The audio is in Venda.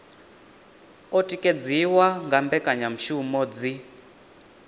o tikedziwa nga mbekanyamushumo dzi